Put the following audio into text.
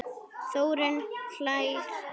Þórunn hlær lágt.